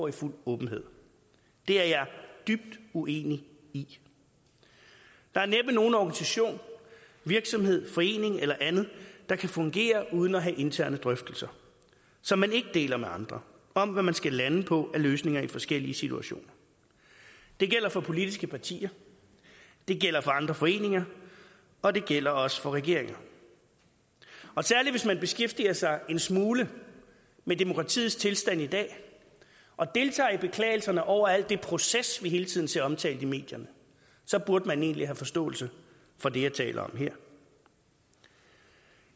i fuld åbenhed det er jeg dybt uenig i der er næppe nogen organisation virksomhed forening eller andet der kan fungere uden at have interne drøftelser som man ikke deler med andre om hvad man skal lande på af løsninger i forskellige situationer det gælder for politiske partier det gælder for andre foreninger og det gælder også for regeringer særlig hvis man beskæftiger sig en smule med demokratiets tilstand i dag og deltager i beklagelserne over alt det proces vi hele tiden ser omtalt i medierne så burde man egentlig have forståelse for det jeg taler om her